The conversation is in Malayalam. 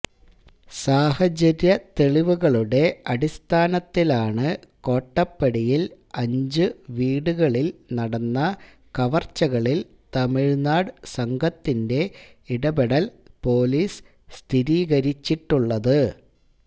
സാഹചര്യത്തെളിവുകളുടെ അടിസ്ഥാനത്തിലാണ് കോട്ടപ്പടിയിൽ അഞ്ചുവീടുകളിൽ നടന്ന കവർച്ചകളിൽ തമിഴ്നാട് സംഘത്തിന്റെ ഇടപെടൽ പൊലീസ് സ്ഥിരീകരിച്ചിട്ടുള്ളത്